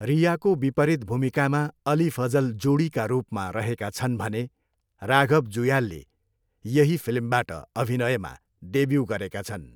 रियाको विपरीत भूमिकामा अली फजल जोडीका रूपमा रहेका छन् भने राघव जुयालले यही फिल्मबाट अभिनयमा डेब्यू गरेका छन्।